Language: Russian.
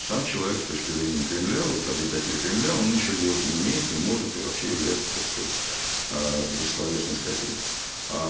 сам человек с точки зрения кремля вот обитатели кремля он ничего делать не умеет не может и вообще является так сказать аа бессловесной скотиной аа